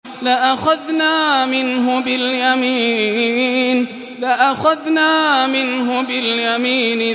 لَأَخَذْنَا مِنْهُ بِالْيَمِينِ